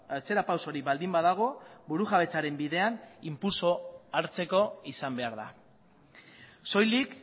atzera pausorik baldin badago burujabetzaren bidean inpultso hartzeko izan behar da soilik